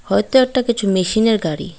হয়তো একটা কিছু মেশিনের গাড়ি।